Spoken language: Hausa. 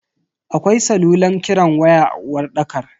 Akwai salulan kiran waya a uwarɗakar.